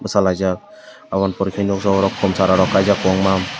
bosalaijak aboni pore kei nogjago kom sara rok kaijak kobangma.